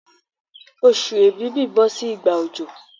Oṣù èbìbí bọ́ sí ìgbà òjò